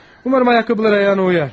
Ümid edirəm ayaqqabılar ayağına uyğun gələr.